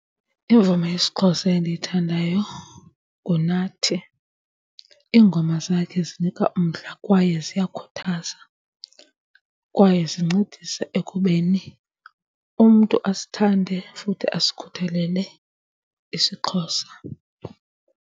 Imvume yesiXhosa endiyithandayo nguNathi. Iingoma zakhe zinika umdla kwaye ziyakhuthaza, kwaye zincedise ekubeni umntu asithande futhi asikhuthalele isiXhosa.